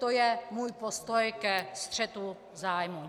To je můj postoj ke střetu zájmu.